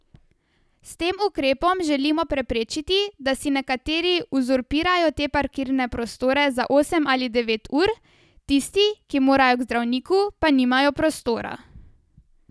S tem ukrepom želimo preprečiti, da si nekateri uzurpirajo te parkirne prostore za osem ali devet ur, tisti, ki morajo k zdravniku, pa nimajo prostora.